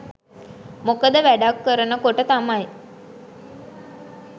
මොකද වැඩක් කරන කොට තමයි